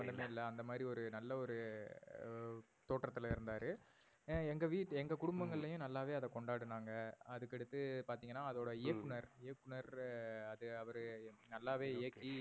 சமந்தமே இல்ல அந்த மாறி ஒரு நல்ல ஒரு தோற்றத்துல இருந்தாரு. ஏன் எங்க வீட்டு ஹம் எங்க குடும்பங்கள்ளையும் நல்லாவே அதை கொண்டாடுனாங்க. அதுக்கு அடுத்து பாத்திங்கான ஹம் அதோட இயக்குனர் இயக்குனர் அது அவரு நல்லாவே இயக்கி